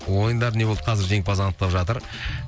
ойындар не болды қазір жеңімпаз анықтап жатыр